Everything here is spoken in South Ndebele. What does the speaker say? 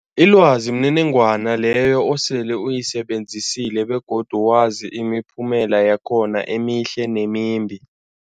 Ilwazi mniningwana leyo osele uyisebenzisile begodu wazi imiphumela yakhona emihle nemimbi.